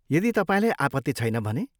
यदि तपाईँलाई आपत्ति छैन भने।